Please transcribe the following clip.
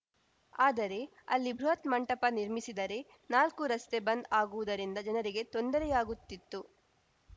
ಆದರೆ ಅಲ್ಲಿ ಬೃಹತ್‌ ಮಂಟಪ ನಿರ್ಮಿಸಿದರೆ ನಾಲ್ಕೂ ರಸ್ತೆ ಬಂದ್‌ ಆಗುವುದರಿಂದ ಜನರಿಗೆ ತೊಂದರೆಯಾಗುತ್ತಿತ್ತು